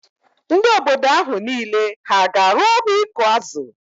Ndị obodo ahụ niile hà ga-arụ ọrụ ịkụ azụ?